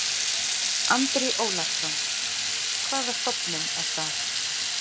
Andri Ólafsson: Hvaða stofnun er það?